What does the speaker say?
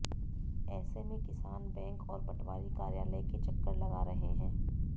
ऐसे में कि सान बैंक और पटवारी कार्यालय के चक्कर लगा रहे हैं